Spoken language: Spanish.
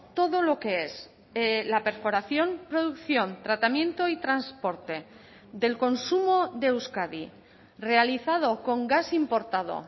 todo lo que es la perforación producción tratamiento y transporte del consumo de euskadi realizado con gas importado